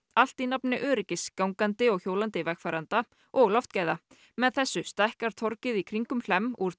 allt í nafni öryggis gangandi og hjólandi vegfarenda og loftgæða með þessu stækkar torgið í kringum Hlemm úr